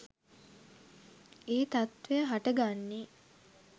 ඒ තත්ත්වය හට ගන්නේ.